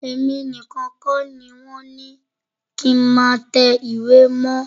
Èmi nìkan kọ́ ni wọ́n ni kí n má tẹ ìwé mọ́.